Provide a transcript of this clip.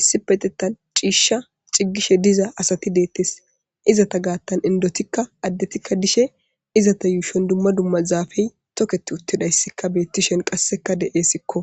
issipetetan ciishsha ciggishe diza asati deettes izata gaattan indotikka addetikka dishe izata yuushon dumma dumma zaafey toketi uttidayssikka beettishen qasseka de'eesikko